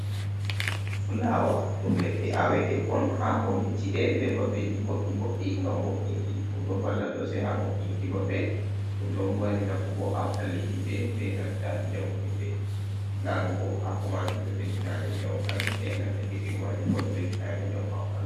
Fulawa, ɗum ledde awetekon ha kombi ci’e be babeji bodɗi bodɗi ngam wo'inki, ɗum ɗo valla sosai ha mo’inki babe, ɗum ɗo mari nafu bo ha ɓalli himɓe be nanta njamu himɓe. Larugo hako majum ɗo ɓeddina min njamu ha gite benanta kesiri majumbo ɗo ɓeddina amin njamu ha ɓandu.